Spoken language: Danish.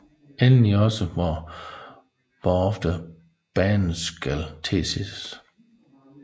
Endelig også hvor ofte banen skal tilses